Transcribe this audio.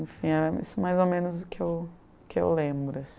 Enfim, é isso mais ou menos o que eu, o que eu lembro, assim.